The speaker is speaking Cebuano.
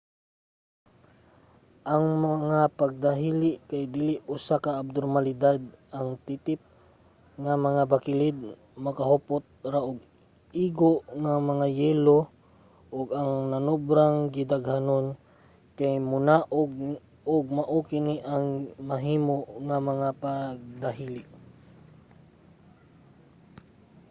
ang mga pagdahili kay dili usa ka abnormalidad; ang titip nga mga bakilid makahupot ra og igo nga mga yelo ug ang nanobrang gidaghanon kay monaog ug mao kini ang mahimo nga mga pagdahili